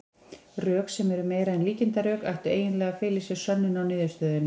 Rök, sem eru meira en líkindarök, ættu eiginlega að fela í sér sönnun á niðurstöðunni.